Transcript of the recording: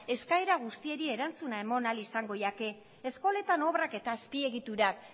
eskaera guztiei erantzuna eman ahal izango zaie eskoletan obrak eta azpiegiturak